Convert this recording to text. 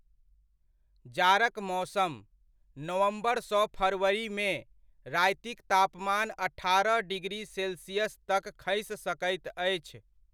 जाड़क मौसम, नवम्बर सँ फरवरीमे, रातिक तापमान अठारह डिग्री सेल्सियस तक खसि सकैत अछि।